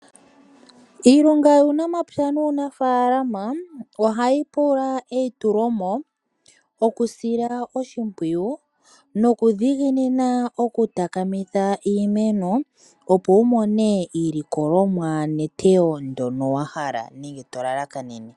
Iilonga yuunamapya nuunafaalama ohayi pula eyi tu lomo oku sila oshimpwiyu nokudhiginina okutaka mitha iimeno opo wumone iilikolomwa netoyo ndyono wahala nenge tolalakanene.